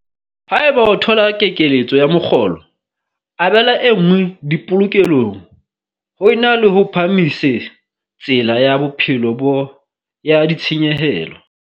Haeba o thola kekeletso ya mokgolo, abela e nngwe dipolokelong ho e na le ho phahamise tsela ya bophelo bo ya ditshenyehelo.